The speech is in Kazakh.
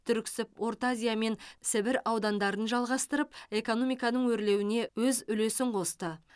түрксіб орта азия мен сібір аудандарын жалғастырып экономиканың өрлеуіне өз үлесін қосты